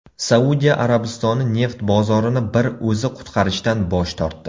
Saudiya Arabistoni neft bozorini bir o‘zi qutqarishdan bosh tortdi.